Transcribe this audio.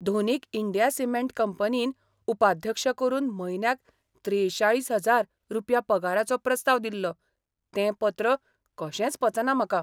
धोनीक India cement कंपनीन उपाध्यक्ष करून म्हयन्याक त्रेचाळीस हजार रुपया पगाराचो प्रस्ताव दिल्लो तें पत्र कशेंच पचना म्हाका.